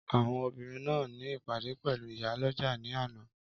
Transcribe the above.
Àwọn obìnrin náà ní ìpàdé pẹ̀lú ìyálọ́jà ni àná